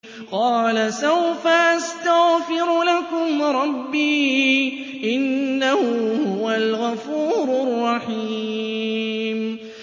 قَالَ سَوْفَ أَسْتَغْفِرُ لَكُمْ رَبِّي ۖ إِنَّهُ هُوَ الْغَفُورُ الرَّحِيمُ